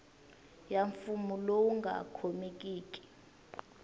ya mfuwo lowu nga khomekiki